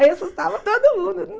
Aí eu assustava todo mundo.